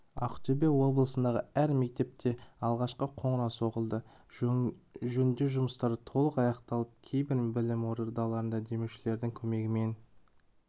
ақтөбе облысындағы әр мектепте алғашқы қоңырау соғылды жөндеу жұмыстары толық аяқталып кейбір білім ордаларына демеушілердің көмегімен